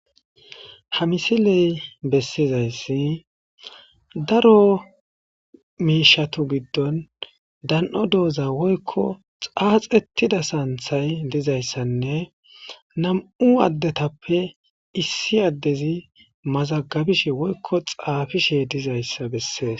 ha misiley bessizayssi daro miishatu giddon dano dooza woykko xaaxettida saanthay dizayssanne namu addetappe issi addezi mazagabishe woykko xaafishe dizayssa bessees